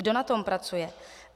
Kdo na tom pracuje?